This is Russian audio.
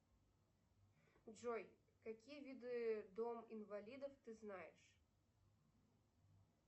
джой какие виды дом инвалидов ты знаешь